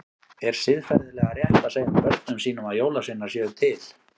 Er siðferðilega rétt að segja börnum sínum að jólasveinar séu til?